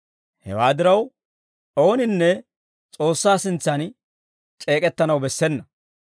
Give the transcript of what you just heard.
Hewaa diraw, ooninne S'oossaa sintsan c'eek'ettanaw bessena.